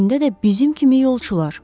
İçində də bizim kimi yolçular.